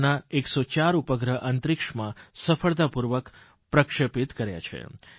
તેમનાં 104 ઉપગ્રહો અંતરિક્ષમાં સફળતાપૂર્વક પ્રક્ષેપિત કર્યા છે